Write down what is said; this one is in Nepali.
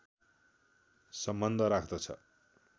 सम्बन्ध राख्दछ